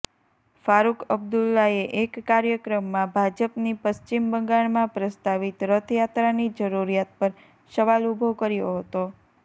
ફારુક અબ્દુલ્લાએ એક કાર્યક્રમમાં ભાજપની પશ્ચિમ બંગાળમાં પ્રસ્તાવિત રથયાત્રાની જરૂરિયાત પર સવાલ ઉભો કર્યો હતો